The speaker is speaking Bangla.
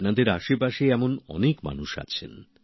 আপনাদের আশেপাশে এমন অনেক মানুষ আছেন